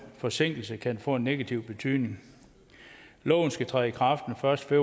forsinkelse kan få en negativ betydning loven skal træde i kraft den første